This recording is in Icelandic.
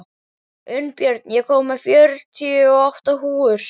Unnbjörn, ég kom með fjörutíu og átta húfur!